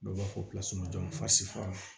Dɔw b'a fɔ